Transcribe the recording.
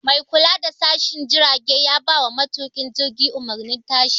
Mai kula da tashin jirage ya bawa matuƙin jirgi umarnin tashi